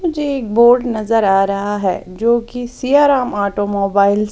मुझे एक बोर्ड नजर आ रहा है जोकि सियाराम ऑटोमोबाइल --